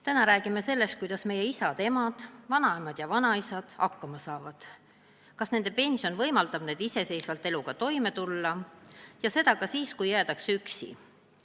Täna räägime sellest, kuidas meie isad ja emad ning vanaemad ja vanaisad hakkama saavad, kas nende pension võimaldab neil iseseisvalt eluga toime tulla, ja seda ka siis, kui jäädakse üksi.